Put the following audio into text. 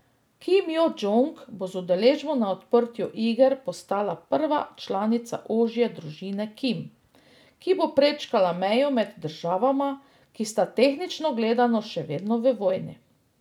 Kim Jo Džong bo z udeležbo na odprtju iger postala prva članica ožje družine Kim, ki bo prečkala mejo med državama, ki sta tehnično gledano še vedno v vojni.